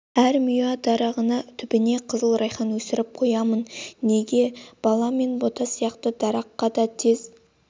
әр миуа дарағының түбіне қызыл райхан өсіріп қоямын неге бала мен бота сияқты дараққа да тез